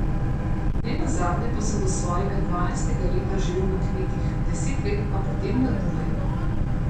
Ne nazadnje pa sem do svojega dvanajstega leta živel na kmetih, deset let pa potem na Dunaju.